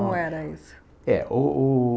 Como era isso? É, o o